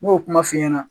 N m'o kuma f'i ɲɛna